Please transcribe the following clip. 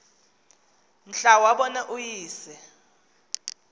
mhla wabona uyise